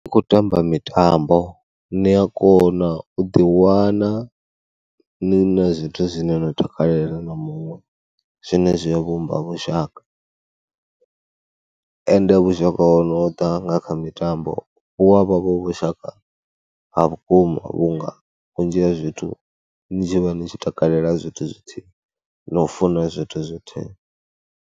Ndi khou tamba mitambo ni a kona u ḓiwana ni na zwithu zwine nda takalela na muṅwe, zwine zwi ya vhumba vhushaka ende vhushaka ho no ḓa nga kha mitambo hu a vha vhushaka ha vhukuma vhunga vhunzhi ha zwithu ni tshi vha ni tshi takalela zwithu zwithihi na u funa zwithu zwithihi.